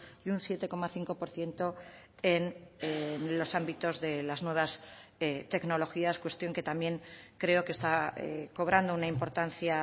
y un siete coma cinco por ciento en los ámbitos de las nuevas tecnologías cuestión que también creo que está cobrando una importancia